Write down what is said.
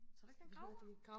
tror du ikke det er en gravhund